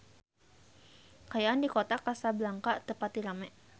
Kaayaan di Kota Kasablanka teu pati rame